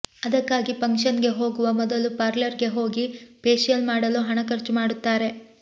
ಅದಕ್ಕಾಗಿ ಫಕ್ಷನ್ ಗೆ ಹೋಗುವ ಮೊದಲು ಪಾರ್ಲರ್ ಗೆ ಹೋಗಿ ಫೇಶಿಯಲ್ ಮಾಡಲು ಹಣ ಖರ್ಚುಮಾಡುತ್ತಾರೆ